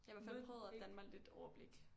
Jeg har i hvert fald prøvet at danne mig lidt et overblik